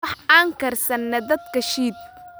Wax an karsane dabka shiid